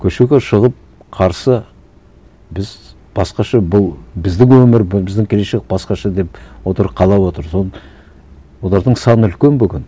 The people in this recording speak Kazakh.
көшеге шығып қарсы біз басқаша бұл біздің өмір бұл біздің келешек басқаша деп отыр қалап отыр соны олардың саны үлкен бүгін